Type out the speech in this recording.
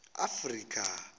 afrika